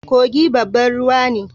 Kogi babban ruwa ne